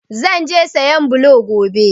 Zan je sayan blo gobe.